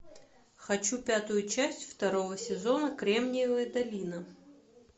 хочу пятую часть второго сезона кремниевая долина